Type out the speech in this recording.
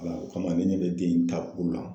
o kama ni ne bɛ den in takun nɔn